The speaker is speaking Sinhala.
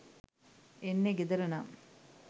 එන්නේ ගෙදර නම්,